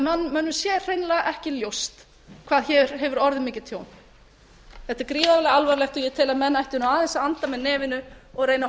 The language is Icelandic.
mönnum sé hreinlega ekki ljóst hvað hér hefur orðið mikið tjón þetta er gríðarlega alvarlegt og ég tel að menn ættu aðeins að anda með nefinu og reyna að